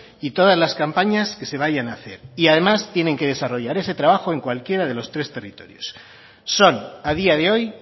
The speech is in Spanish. y todas las campañas que se vayan a hacer y además tienen que desarrollar ese trabajo en cualquiera de los tres territorios son a día de hoy